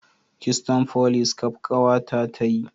Kitson folis kaf kawa ta ta yi